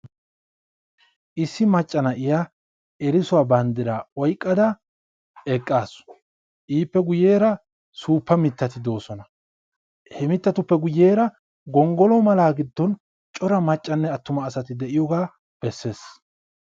issi maccaa na'iyaa erissuwaa banddira oyqqada eqqaasu ippe guyyera suuppa mittati de'oosona, ippe guyyeera gonggolo mala giddon cora maccanne attuma asati de'iyooga bessees.